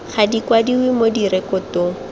ga di kwadiwe mo direkotong